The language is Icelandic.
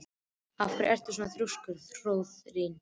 Af hverju ertu svona þrjóskur, Hróðný?